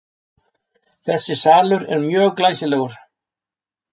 Þessi salur er mjög glæsilegur.